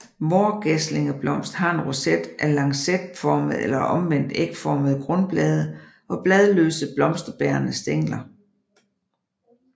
Vårgæslingeblomst har en roset af lancetformede eller omvendt ægformede grundblade og bladløse blomsterbærende stængler